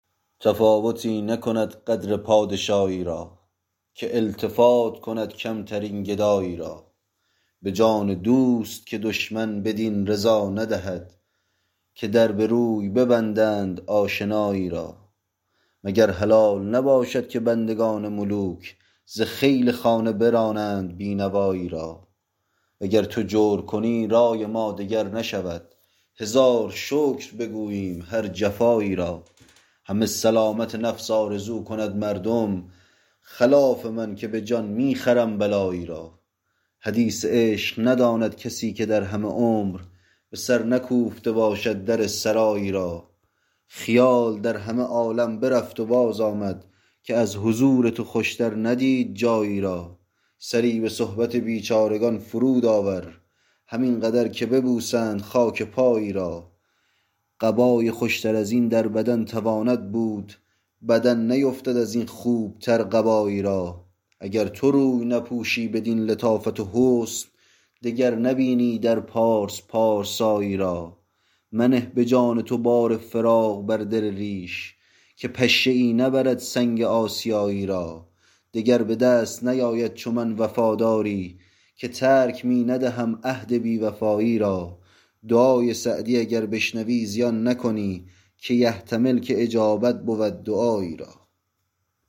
تفاوتی نکند قدر پادشایی را که التفات کند کمترین گدایی را به جان دوست که دشمن بدین رضا ندهد که در به روی ببندند آشنایی را مگر حلال نباشد که بندگان ملوک ز خیل خانه برانند بی نوایی را و گر تو جور کنی رای ما دگر نشود هزار شکر بگوییم هر جفایی را همه سلامت نفس آرزو کند مردم خلاف من که به جان می خرم بلایی را حدیث عشق نداند کسی که در همه عمر به سر نکوفته باشد در سرایی را خیال در همه عالم برفت و بازآمد که از حضور تو خوشتر ندید جایی را سری به صحبت بیچارگان فرود آور همین قدر که ببوسند خاک پایی را قبای خوشتر از این در بدن تواند بود بدن نیفتد از این خوبتر قبایی را اگر تو روی نپوشی بدین لطافت و حسن دگر نبینی در پارس پارسایی را منه به جان تو بار فراق بر دل ریش که پشه ای نبرد سنگ آسیایی را دگر به دست نیاید چو من وفاداری که ترک می ندهم عهد بی وفایی را دعای سعدی اگر بشنوی زیان نکنی که یحتمل که اجابت بود دعایی را